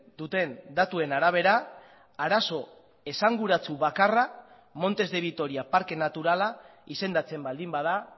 duten datuen arabera arazo esanguratsu bakarra montes de vitoria parke naturala izendatzen baldin bada